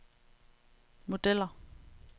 modeller